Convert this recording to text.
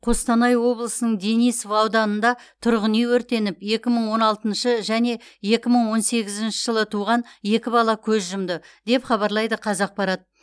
қостанай облысының денисов ауданында тұрғын үй өртеніп екі мың он алтыншы және екі мың он сегізінші жылы туған екі бала көз жұмды деп хабарлайды қазақпарат